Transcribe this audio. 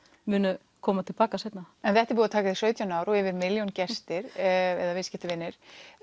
munu koma tilbaka seinna en þetta er búið að taka þig sautján ár og yfir milljón gestir eða viðskiptavinir